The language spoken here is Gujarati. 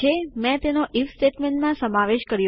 મેં તેનો આઇએફ સ્ટેટમેન્ટમાં સમાવેશ કર્યો